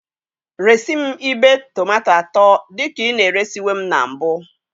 Resị m ibe tomato atọ dị ka ị na-eresiwe m na mbụ.